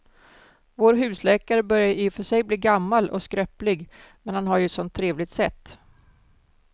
Vår husläkare börjar i och för sig bli gammal och skröplig, men han har ju ett sådant trevligt sätt!